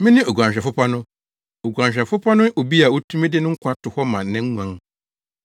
“Mene oguanhwɛfo pa no. Oguanhwɛfo pa no ne obi a otumi de ne nkwa to hɔ ma ne nguan.